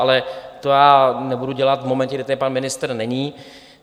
Ale to já nebudu dělat v momentě, kdy tady pan ministr není.